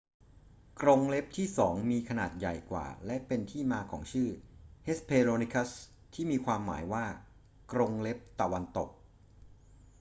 กรงเล็บที่สองมีขนาดใหญ่กว่า และเป็นที่มาของชื่อ hesperonychus ที่มีความหมายว่า กรงเล็บตะวันตก